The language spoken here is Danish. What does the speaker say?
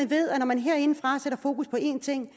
ved at når man herindefra sætter fokus på en ting